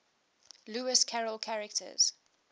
lewis carroll characters